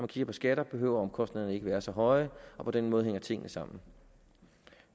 kigger på skatter behøver omkostningerne ikke at være så høje og på den måde hænger tingene sammen